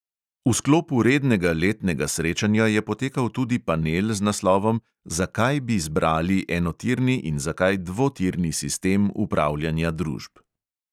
V sklopu rednega letnega srečanja je potekal tudi panel z naslovom zakaj bi zbrali enotirni in zakaj dvotirni sistem upravljanja družb.